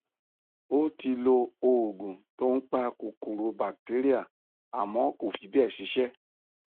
ó ti lo òògun tó ń pa kòkòro batéríà àmọ kò fí bẹẹ ṣiṣẹ